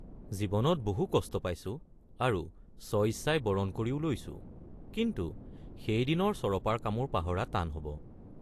জীৱনত বহু কষ্ট পাইছোঁ আৰু স্বইচ্ছাই বৰণ কৰিও লৈছোঁ কিন্তু সেইদিনৰ চৰপাৰ কামোৰ পাহৰা টান হব।